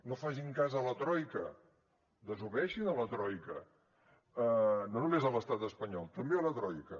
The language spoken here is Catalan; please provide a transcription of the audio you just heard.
no facin cas a la troica desobeeixin la troica no només a l’estat espanyol també a la troica